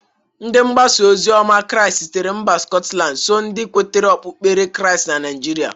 Ndị mgbasa ozioma krịast sitere mba skọtland so ndị nwetara okpukpere krịast na Naijịrịa.